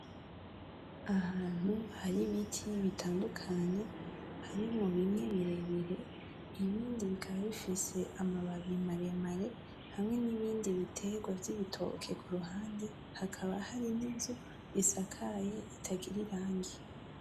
Ahantu hari ibiti bitandukanye harimwo bimwe birebire ibindi bikaba bifise amababi maremare hamwe nibindi biterwa vy'ibitoke kuruhande hakaba hari ninzu isakaye itagira irangi .